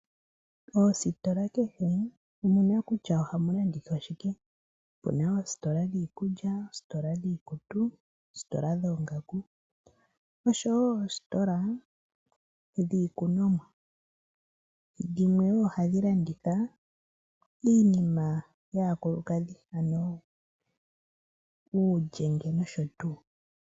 Moositola kehe omuna kutya ohamu landithwa shike. Opuna oositola dhiikulya, oositola dhiikutu, oositola dhoongaku noshowo oositola dhiikunomwa. Dhimwe wo ohadhi landitha iinima yaakulukadhi ano uulyenge nosho tuu.